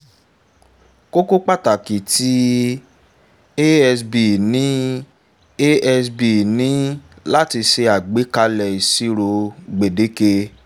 kókó pàtàkì ti asb ni asb ni láti ṣe àgbékalè ìṣèṣirò gbèdéke